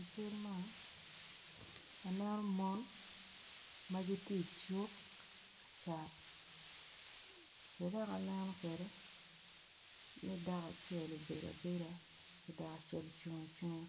I cal man aneno mon ma gitye i cuk ka cat be dok aneno kwede ni dako acel obedo abeda ki dako acel ocung acunga